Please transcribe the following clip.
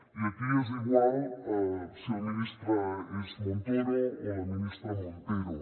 i aquí és igual si el ministre és montoro o la ministra montero